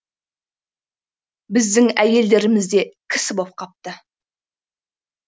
біздің әйелдеріміз де кісі боп қапты